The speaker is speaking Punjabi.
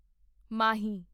ਮਾਹੀ